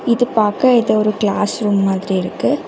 இது பாக்க ஏதோ ஒரு கிளாஸ் ரூம் மாதிரி இருக்கு.